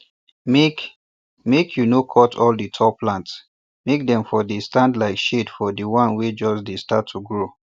make make you no cut all di tall plants make dem for dey stand like shade for di one wey just dey start to grow